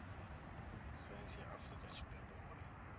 saintsi ya afurika tshipembe uri